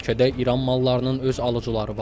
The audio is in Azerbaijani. Ölkədə İran mallarının öz alıcıları var.